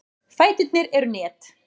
Fæturnir eru net.